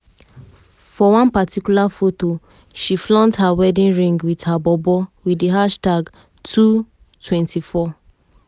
for one particular foto she flaunt her wedding ring wit her bobo wit di hashtag #two24.